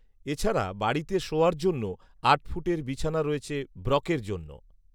এছাড়া বাড়িতে শোওয়ার জন্য আট ফুটের বিছানা রয়েছে ব্রকের জন্য